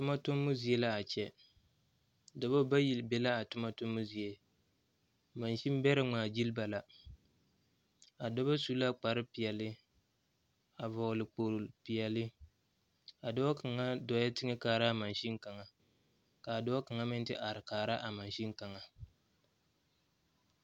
Toma tomo zie la a kyɛ. Doɔba bayi be la a toma tomo zie. Maasen bɛra ŋmaa gyili ba la. A doɔba su la kppar piɛle a vogle kpol piɛle. A doɔ kanga dooɛ teŋe kaara a maasen kanga. Ka a doɔ kanga meŋ te are kaara a maasen kanga